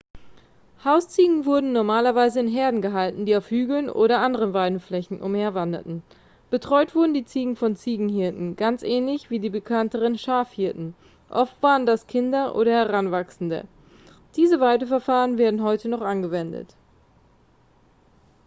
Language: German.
hausziegen wurden normalerweise in herden gehalten die auf hügeln oder anderen weideflächen umherwanderten betreut wurden die ziegen von ziegenhirten ganz ähnlich wie die bekannteren schafhirten oft waren das kinder oder heranwachsende diese weideverfahren werden heute noch angewendet